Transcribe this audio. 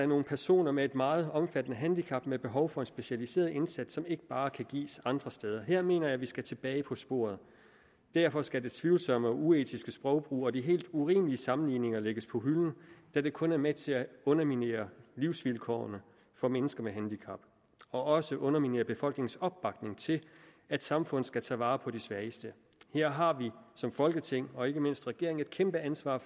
nogle personer med et meget omfattende handicap med behov for en specialiseret indsats som ikke bare kan gives andre steder jeg mener at vi skal tilbage på sporet og derfor skal den tvivlsomme og uetiske sprogbrug og de helt urimelige sammenligninger lægges på hylden da det kun er med til at underminere livsvilkårene for mennesker med handicap og også at underminere befolkningens opbakning til at samfundet skal tage vare på de svageste her har vi som folketing og ikke mindst regeringen et kæmpe ansvar